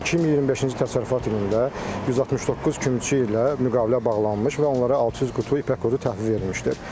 2025-ci təsərrüfat ilində 169 kümçü ilə müqavilə bağlanmış və onlara 600 qutu ipək qurdu təhvil verilmişdir.